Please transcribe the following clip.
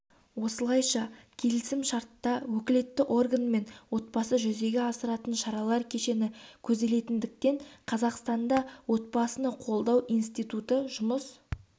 осылайша келісімшартта өкілетті орган мен отбасы жүзеге асыратын шаралар кешені көзделетіндіктен қазақстанда отбасыны қолдау институты жұмыс